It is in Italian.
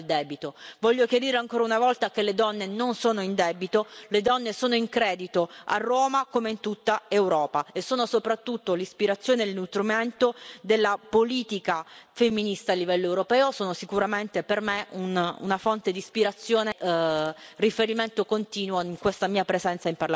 Voglio chiarire ancora una volta che le donne non sono in debito, le donne sono in credito, a Roma come in tutta Europa, e sono soprattutto l'ispirazione e il nutrimento della politica femminista a livello europeo, sono sicuramente, per me, una fonte di ispirazione e riferimento continuo in questa mia presenza nel Parlamento europeo.